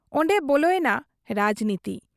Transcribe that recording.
ᱚᱱᱰᱮ ᱵᱚᱞᱮᱭᱮᱱᱟ ᱨᱟᱡᱽᱱᱤᱛᱤ ᱾